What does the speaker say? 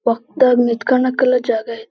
ವಕ್ತ ನಿತ್ಕಣಕ್ ಎಲ್ಲ ಜಾಗ ಅಯ್ತಿ-